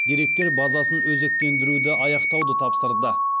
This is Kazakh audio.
деректер базасын өзектендіруді аяқтауды тапсырды